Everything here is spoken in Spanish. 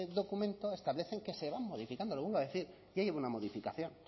documento establecen que se van modificando lo vuelvo a decir ya lleva una modificación